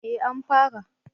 Eh an fara